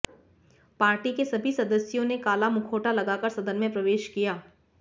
party के सभी सदस्यों ने काला मुखौटा लगाकर सदन में प्रवेश किया